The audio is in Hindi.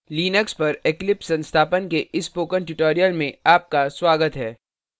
लिनक्स पर eclipse संस्थापन के इस spoken tutorial में आपका स्वागत है